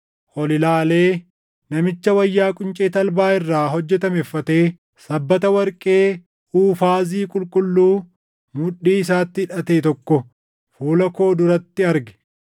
ol ilaalee namicha wayyaa quncee talbaa irraa hojjetame uffatee sabbata warqee Uufaazii qulqulluu mudhii isaatti hidhate tokko fuula koo duratti arge.